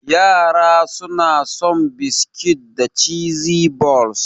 Yara suna son biskit da cheese balls.